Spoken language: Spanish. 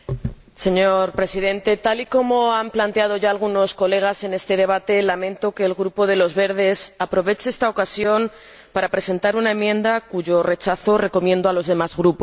Señor Presidente, tal y como ya han planteado algunos colegas en este debate, lamento que el Grupo de los Verdes Alianza Libre Europea aproveche esta ocasión para presentar una enmienda, cuyo rechazo recomiendo a los demás Grupos.